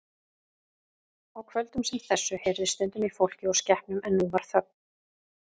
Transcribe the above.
Á kvöldum sem þessu heyrðist stundum í fólki og skepnum en nú var þögn.